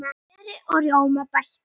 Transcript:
Smjöri og rjóma bætt við.